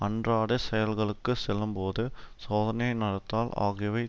அன்றாடச் செயல்களுக்கு செல்லும்போது சோதனை நடத்தால் ஆகியவை